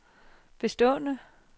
bestående